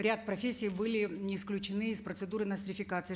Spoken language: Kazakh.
ряд профессий были исключены из процедуры нострификации